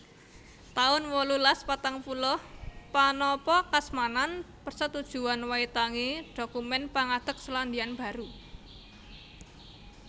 taun wolulas patang puluh Panapakasmanan Persetujuan Waitangi dhokumèn pangadeg Selandia Baru